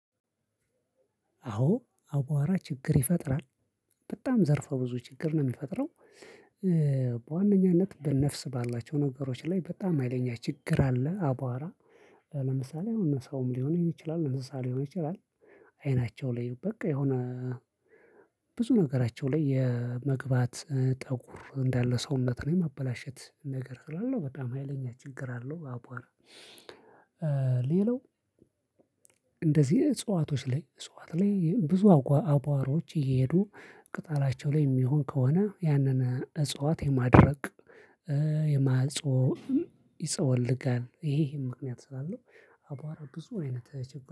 አዎ አዋራ ችግር ይፈጥራል። በጣም ዘርፈ ብዙ ችግር ነው የሚፈጥረው። በዋነኛነት በነፍስ ባላቸው ነገሮች ላይ በጣም ሀይለኛ ችግር አለ። አቧራ። ለምሳሌ አሁን ሰውም ሊሆንም ይችላል እንሰሳም ሊሆን ይችላል። አይናቸው ላይ በቃ የሆነ ብዙ ነገራቸው ላይ የመግባት ጠጉር እንዳለ ሰውነትን የማበላሸት ነገር ስላለው በጣም ሀይለኛ ችግር አለው። አብዋራ። ሌላው። እንደዚህ እጽዋቶች ላይ እጽዋት ላይ ብዙ አባዋሮች እየሄዱ ቅጣላቸው ላይ የሚሆን ከሆነ ያንን እጽዋት የማድረቅ የማጽወም ይጸወልጋል ይሄ ይሄ ምክንያት ስላለው አቧራ ብዙ አይነት